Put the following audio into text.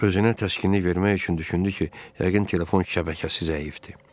Özünə təskinlik vermək üçün düşündü ki, yəqin telefon şəbəkəsi zəifdir.